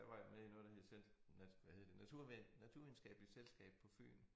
Der var jeg med i noget der hed cent dansk hvad hed det natur Naturvidenskabeligt Selskab på Fyn